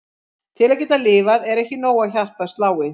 Til að geta lifað er ekki nóg að hjartað slái.